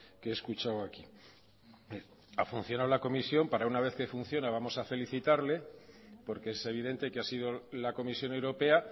que he escuchado aquí ha funcionado la comisión y para una vez que funciona vamos a felicitarle porque es evidente que ha sido la comisión europea